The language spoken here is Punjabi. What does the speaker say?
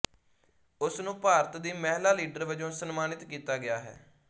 ਉਸ ਨੂੰ ਭਾਰਤ ਦੀ ਮਹਿਲਾ ਲੀਡਰ ਵਜੋਂ ਸਨਮਾਨਤ ਕੀਤਾ ਗਿਆ ਹੈ